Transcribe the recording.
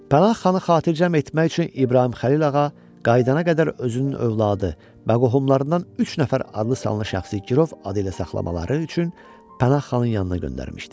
Pənah xanı xatircəm etmək üçün İbrahim Xəlil ağa qayıdana qədər özünün övladı və qohumlarından üç nəfər adlı-sanlı şəxsi girov adı ilə saxlamaları üçün Pənah xanın yanına göndərmişdi.